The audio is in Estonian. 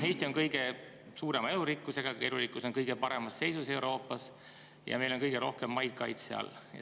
Eesti on ka kõige suurema elurikkusega ‒ elurikkus on meil kõige paremas seisus Euroopas ‒ ja meil on kõige rohkem maid kaitse all.